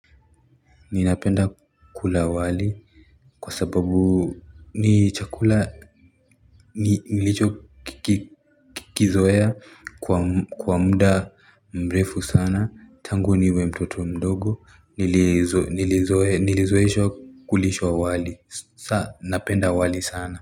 Ninapenda kula wali Kwa sababu ni chakula nilicho kiki Kizoea kwa kwa muda mrefu sana tangu niwe mtoto mdogo nilizo nilizoeshwa kulishwa wali sa napenda wali sana.